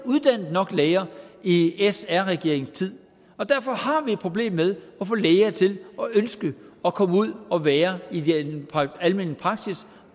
uddannet nok læger i sr regeringens tid derfor har vi et problem med at få læger til at ønske at komme ud og være i den almene praksis